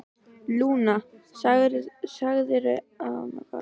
Lúna, sagðirðu að hún kallaði sig Lúnu?